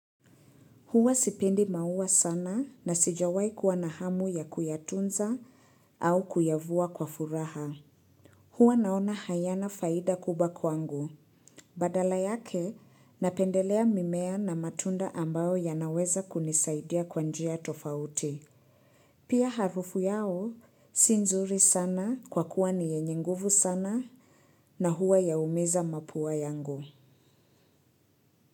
Huwa sipendi maua sana na sijawai kuwa na hamu ya kuyatunza au kuyavua kwa furaha. Huwa naona hayana faida kubwa kwangu. Badala yake, napendelea mimea na matunda ambayo yanaweza kunisaidia kwa njia tofauti. Pia harufu yao si nzuri sana kwa kuwa ni yenye nguvu sana na huwa yaumiza mapua yangu.